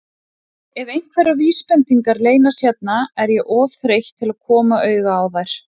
Ef einhverjar vísbendingar leynast hérna er ég of þreytt til að koma auga á þær.